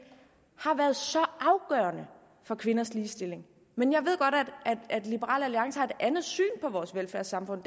har været så afgørende for kvinders ligestilling men jeg ved godt at liberal alliance har et andet syn på vores velfærdssamfund